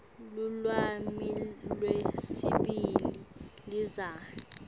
lulwimi lwesibili lizinga